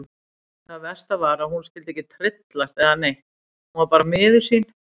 Það versta var að hún skyldi ekki tryllast eða neitt, hún var bara miður sín.